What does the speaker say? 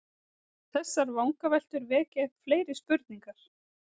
Þessar vangaveltur vekja upp fleiri spurningar.